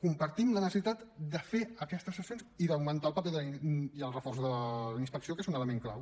compartim la necessitat de fer aquestes sancions i d’augmentar el paper i el reforç de la inspecció que és un element clau